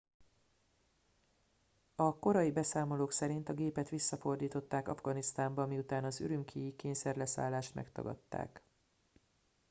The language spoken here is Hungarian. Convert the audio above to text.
a korai beszámolók szerint a gépet visszafordították afganisztánba miután az ürümqi i kényszerleszállást megtagadták